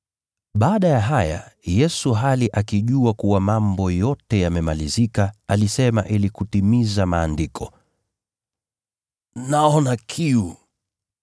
Baada ya haya, Yesu hali akijua kuwa mambo yote yamemalizika, alisema ili kutimiza Maandiko, “Naona kiu.”